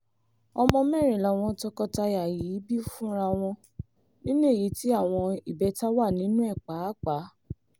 ọmọ mẹ́rin làwọn tọkọtaya yìí bí fúnra wọn nínú èyí tí àwọn ìbẹ́ta wà nínú ẹ̀ pàápàá